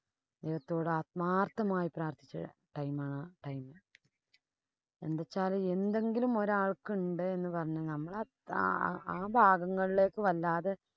ദൈവത്തോട് ആത്മാര്‍ത്മായി പ്രാര്‍ത്ഥിച്ച time ആഹ് ആഹ് time. എന്തു വച്ചാല് എന്തെങ്കിലും ഒരാള്‍ക്ക്‌ ഇണ്ട് എന്ന് പറഞ്ഞാ നമ്മള് ആ ഭാഗങ്ങളിലേക്ക് വല്ലാതെ